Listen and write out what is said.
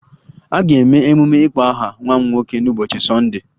A ga-eme emume ịkpọ aha nwa m nwoke n'ụbọchị Sọnde